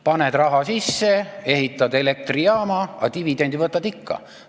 Paned raha sisse, ehitad elektrijaama, aga dividendi võtad ikka.